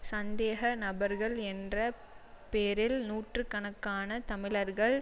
சந்தேக நபர்கள் என்ற பேரில் நூற்று கணக்கான தமிழர்கள்